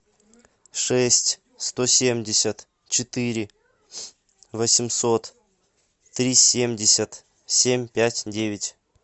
шесть сто семьдесят четыре восемьсот три семьдесят семь пять девять